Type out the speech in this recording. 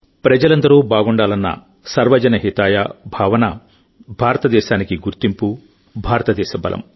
ప్రజలందరూ బాగుండాలన్న సర్వజన హితాయ భావన భారతదేశానికి గుర్తింపు భారతదేశ బలం